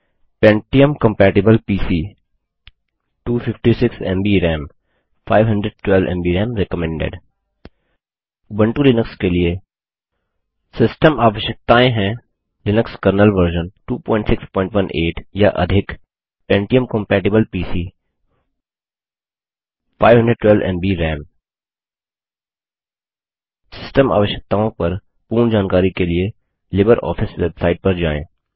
pentium compatible PC 256 MB RAM Ubuntu Linux के लिए Linux kernel version 2618 या अधिक pentium कंपैटिबल पीसी 512एमबी राम सिस्टम आवश्यकताओं पर पूर्ण जानकारी के लिए लिबर ऑफिस बेवसाइट पर जाएँ